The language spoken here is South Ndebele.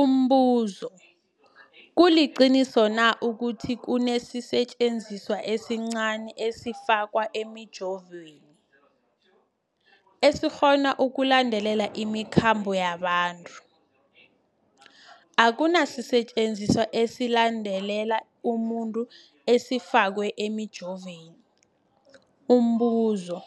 Umbuzo, kuliqiniso na ukuthi kunesisetjenziswa esincazana esifakwa emijovweni, esikghona ukulandelela imikhambo yabantu? Akuna sisetjenziswa esilandelela umuntu esifakwe emijoveni. Umbuzo,